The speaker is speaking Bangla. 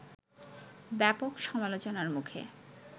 ব্যাপক সমালোচনার মুখে